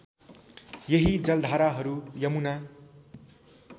यही जलधाराहरू यमुना